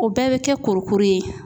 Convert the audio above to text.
O bɛɛ bɛ kɛ kurukuru ye.